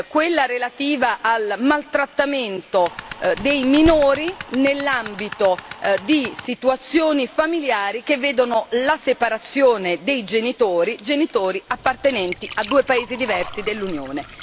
quella relativa al maltrattamento dei minori nell'ambito di situazioni familiari che vedono la separazione dei genitori appartenenti a due paesi diversi dell'Unione.